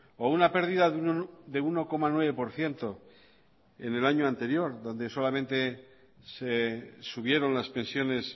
o una pérdida de uno coma nueve por ciento en el año anterior donde solamente se subieron las pensiones